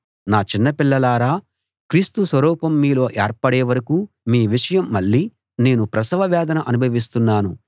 నా చిన్న పిల్లలారా క్రీస్తు స్వరూపం మీలో ఏర్పడే వరకూ మీ విషయం మళ్ళీ నేను ప్రసవ వేదన అనుభవిస్తున్నాను